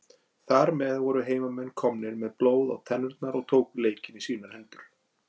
Þar með voru heimamenn komnir með blóð á tennurnar og tóku leikinn í sínar hendur.